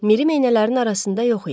Miri meynələrin arasında yox idi.